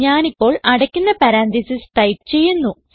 ഞാനിപ്പോൾ അടയ്ക്കുന്ന parenthesis type ചെയ്യുന്നു